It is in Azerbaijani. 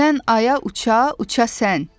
Göydən aya uça-uça sən.